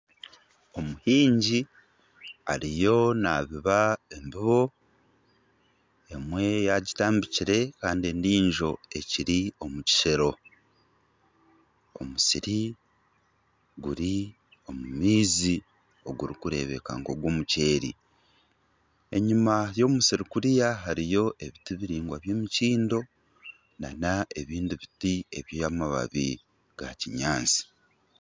Omuhingi ariyo naabiba embibo, emwe yaagitabire kandi endiijo eri omu kiseero, omusiri guri omu maizi ogurikureebeka nk'ogw'omuceeri, enyima y'omusiri kuriya hariyo ebiti biraingwa by'emikindo nana ebindi biti by'amababi ga kinyaatsi